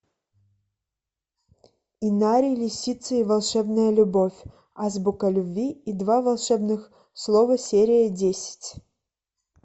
инари лисицы и волшебная любовь азбука любви и два волшебных слова серия десять